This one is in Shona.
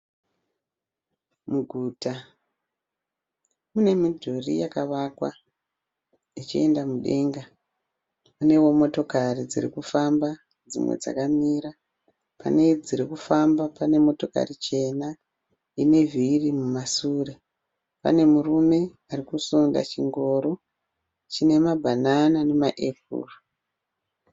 Muguta mune midhuri yakavakwa ichienda mudenga. Muneo motokari dzirikufamba dzimwe dzakamira. Pane dziri kufamba pane motokari chena ine vhiri kumasure. Pane murume arikusunda chingoro chine mabhanana nemaepuru.